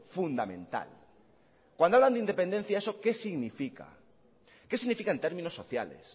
fundamental cuándo hablan de independencia eso qué significa qué significa en términos sociales